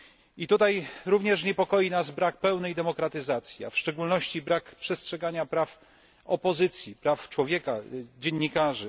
I tutaj również niepokoi nas brak pełnej demokratyzacji, a w szczególności brak przestrzegania praw opozycji, praw człowieka, dziennikarzy.